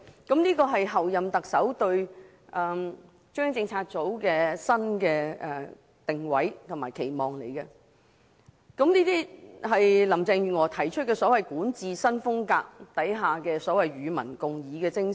這是候任特首林鄭月娥對中央政策組的新定位和期望，亦是她提出的所謂管治新風格下與民共議的精神。